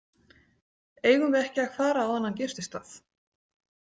Eigum við ekki að fara á þennan gististað?